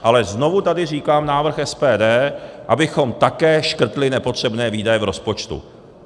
Ale znovu tady říkám návrh SPD, abychom také škrtli nepotřebné výdaje v rozpočtu.